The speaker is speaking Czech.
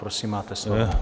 Prosím, máte slovo.